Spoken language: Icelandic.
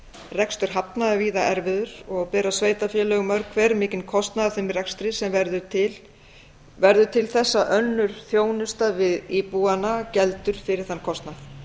rekstur hafna er víða erfiður og bera sveitarfélög mörg hver mikinn kostnað af þeim rekstri sem verður til þess að önnur þjónusta við íbúana geldur fyrir þann kostnað